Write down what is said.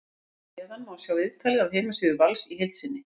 Hér að neðan má sjá viðtalið af heimasíðu Vals í heild sinni.